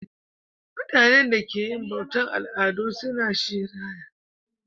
Mutanenda ke yin bautan aladu suna shirayi